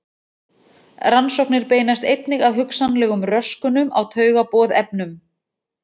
Rannsóknir beinast einnig að hugsanlegum röskunum á taugaboðefnum.